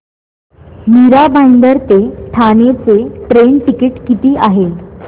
मीरा भाईंदर ते ठाणे चे train ticket किती आहे